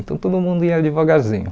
Então, todo mundo ia devagarzinho.